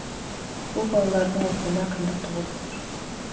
бұл балалардың оқуына қиындық туғызып тұр